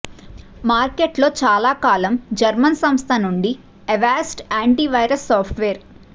మార్కెట్లో చాలా కాలం జర్మన్ సంస్థ నుండి అవాస్ట్ యాంటీవైరస్ సాఫ్ట్వేర్